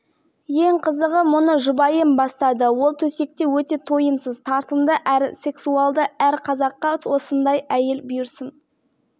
парақшаның ішіндегі жағымсыз ойлар көбінесе көре алмаушылыққа келіп тіреледі еркектер сүйіктілерін қанағаттандырудан қалған нағыз рахаттың